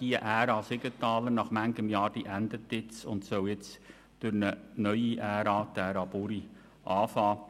Die Ära Siegenthaler endet nun nach vielen Jahren, und nun soll eine neue Ära, die Ära Buri, beginnen.